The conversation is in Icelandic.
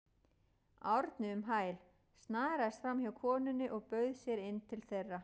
Árni um hæl, snaraðist framhjá konunni og bauð sér inn til þeirra.